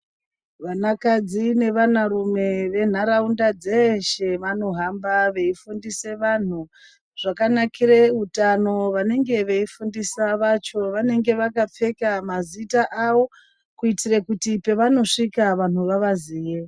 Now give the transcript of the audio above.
Vanakadzi nevanarume ventaraunda dzeshe vanohamba veifundise vanhu zvakanakire utano. Vanenge veifundisa vacho vanenga vakapfeka mazita awo kuitire kuti pevanosvika vanhu vavaziye.